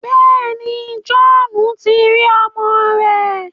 Bẹẹni, Johhnu ti ri ọmọ rẹ